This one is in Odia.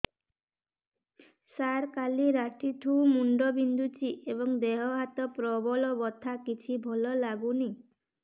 ସାର କାଲି ରାତିଠୁ ମୁଣ୍ଡ ବିନ୍ଧୁଛି ଏବଂ ଦେହ ହାତ ପ୍ରବଳ ବଥା କିଛି ଭଲ ଲାଗୁନି